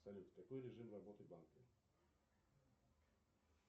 салют какой режим работы банка